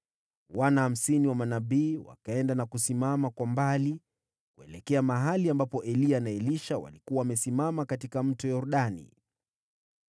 Wana hamsini wa manabii wakaenda na kusimama kwa mbali, kuelekea mahali ambapo Eliya na Elisha walikuwa wamesimama kando ya Mto Yordani.